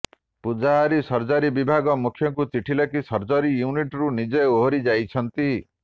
Pujahari surgery ବିଭାଗ ମୁଖ୍ୟଙ୍କୁ ଚିଠି ଲେଖି ସର୍ଜରି ୟୁନିଟରୁ ନିଜେ ଓହରି ଯାଇଛନ୍ତି